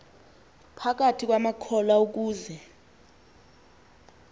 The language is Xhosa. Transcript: phakathi kwamakholwa ukuze